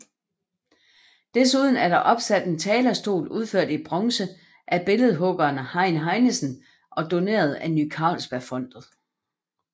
Desuden er der opsat en talerstol udført i bronze af billedhuggeren Hein Heinsen og doneret af Ny Carlsbergfondet